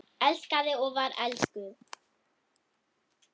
Elskaði og var elskuð.